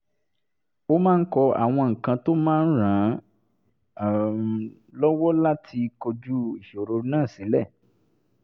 ó máa ń kọ àwọn nǹkan tó máa ràn án um lọ́wọ́ láti kojú ìṣòro náà sílẹ̀